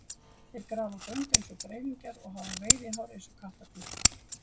Þeir grafa göng eins og greifingjar og hafa veiðihár eins og kattardýr.